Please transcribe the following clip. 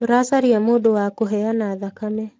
Tũracaria mdũ wa kũheana thakame.